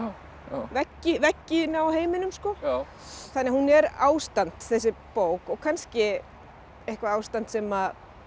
veggina veggina á heiminum sko þannig að hún er ástand þessi bók og kannski eitthvað ástand sem